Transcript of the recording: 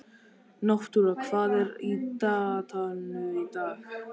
Náttúra, hvað er á dagatalinu í dag?